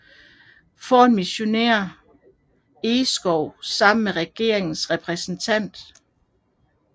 Foran missionær Engskov sammen med regeringens repræsentant